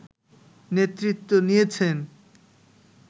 নেতৃত্ব নিয়েছেন